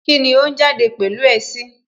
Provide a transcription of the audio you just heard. Kíni ó ń jáde pẹ̀lú ẹ sí?